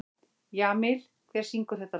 Jamil, hver syngur þetta lag?